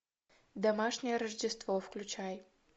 домашнее рождество включай